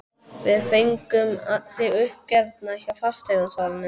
Við fengum þig uppgefna hjá fasteignasalanum.